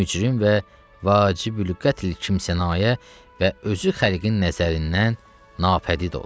Bir mücrim və vacib qətl kimsənayə və özü xəlqin nəzərindən nafədid ola.